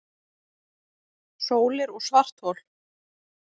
Sólir og svarthol